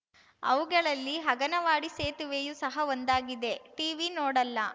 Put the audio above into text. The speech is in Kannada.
ಅವುಗಳಲ್ಲಿ ಅಗನವಾಡಿ ಸೇತುವೆಯೂ ಸಹ ಒಂದಾಗಿದೆ ಟೀವಿ ನೋಡಲ್ಲ